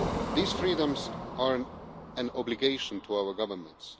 These freedoms are an obligation for our governments.